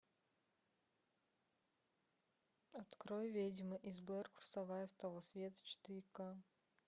открой ведьма из блэр курсовая с того света четыре ка